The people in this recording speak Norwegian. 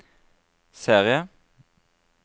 serie